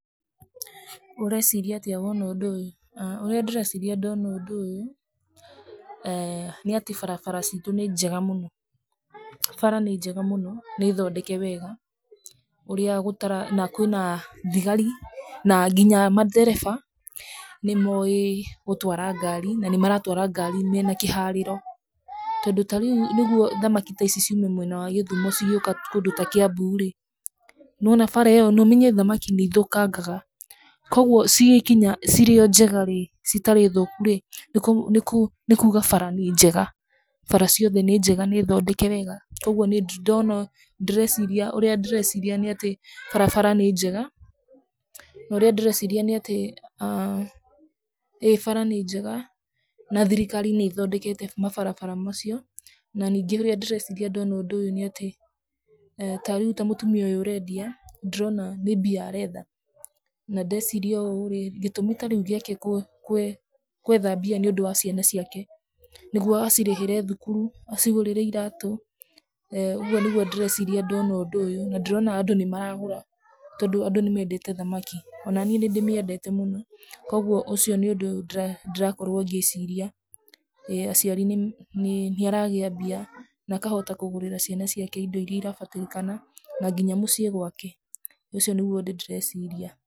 Ũreciria atĩa woona ũndũ ũyũ? ũrĩa ndĩreciria ndona ũndũ ũyũ, eeh nĩatĩ barabara citũ nĩ njega mũno, bara nĩ njega mũno, nĩthondeke wega, ũrĩa gũta na kwĩna thigari, na nginya mandereba nĩmowĩ gũtwara ngari, na nĩmaratwara ngari mena kĩharĩro, tondũ ta rĩu nĩguo thamaki ta ici ciume mwena wa gĩthumo cigĩũka kũndũ ta kĩambu-rĩ, nĩwona bara ĩyo nomenye thamaki nĩithũkangaga, koguo cigĩkinya, cirĩ o njega-rĩ, citarĩ thũku-rĩ, nĩkuga bara nĩ njega, bara ciothe nĩ njega nĩ thondeke wega, koguo nĩndĩrona ndĩreciria ũrĩa ndĩreciria nĩ atĩ, barabara nĩ njega, norĩa ndĩreciria nĩ atĩ aah ĩ bara nĩ njega, na thirikari nĩthondekete mabarabara macio, na ningĩ ũrĩa ndĩreciria ndona ũndũ ũyũ nĩatĩ, ta rĩu ta mũtumia ũyũ ũrendia, ndĩrona nĩ mbia aretha, na ndaciria ũũ-rĩ, gĩtũmi ta rĩu gĩake kũ kwetha mbia nĩũndũ wa ciana ciake, nĩguo acirĩhĩre thukuru, acigũrĩre iratũ, ũguo nĩguo ndĩreciria ndona ũndũ ũyũ, na ndĩrona andũ nĩmaragũra, tondũ andũ nĩmendete thamaki, onaniĩ nĩndĩmĩendete mũno, koguo ũcio nĩ ũndũ ndĩrakorwo ngĩciria, ĩ aciari nĩ nĩaragĩa mbia, nakahota kũgũrĩra ciana ciake indo iria irabatarĩkana, na nginya mũciĩ gwake, ũcio nĩguo ũndũ ndĩreciria.